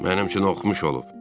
Mənim üçün oxumuş olub.